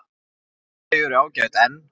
Þau eru ágæt en.